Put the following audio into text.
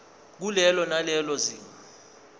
kulelo nalelo zinga